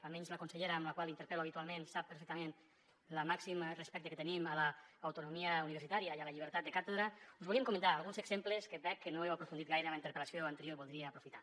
almenys la consellera amb la qual interpel·lo habitualment ho sap perfectament el màxim respecte que tenim a l’autonomia universitària i a la llibertat de càtedra us volíem comentar alguns exemples que veig que no heu aprofundit gaire en la interpel·lació anterior i ho voldria aprofitar